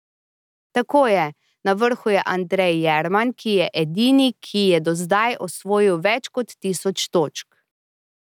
Tako je, na vrhu je Andrej Jerman, ki je edini, ki je do zdaj osvojil več kot tisoč točk.